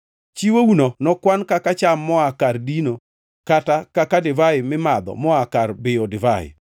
Chiwouno nokwan kaka cham moa kar dino kata kaka divai mimadho moa kar biyo divai.